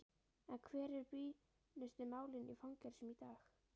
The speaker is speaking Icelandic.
En hver eru brýnustu málin í fangelsum í dag?